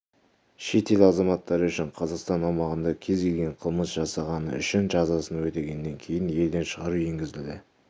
шетел азаматтары үшін қазақстан аумағында кез келген қылмыс жасағаны үшін жазасын өтегеннен кейін елден шығару енгізілді